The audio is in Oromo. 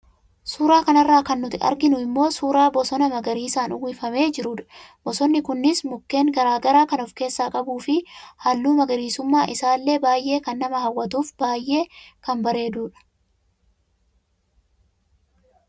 Suura kanarraa kan nuti arginu immoo suuraa bosonaa magariisaan uwwifamee jiruudha. Bosonni kunis mukkeen garaagaraa kan of keessaa qabuu fi haalli magariisummaa isaallee baayee kan nama hawwatuu fi baayee kan bareeduudha.